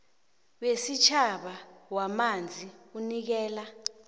wesitjhaba wamanzi unikela